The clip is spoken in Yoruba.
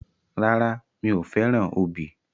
Rárá, mi ò fẹ́ràn obì.